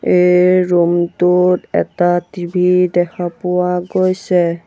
এই ৰুমটোত এটা টি_ভি দেখা পোৱা গৈছে।